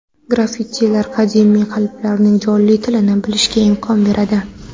Graffitilar qadimiy qabilalarning jonli tilini bilishga imkon beradi.